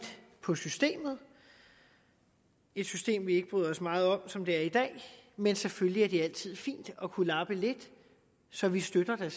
på systemet et system vi ikke bryder os meget om som det er i dag men selvfølgelig er det altid fint at kunne lappe lidt så vi støtter da